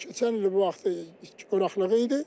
Keçən il bu vaxtı quraqlıq idi.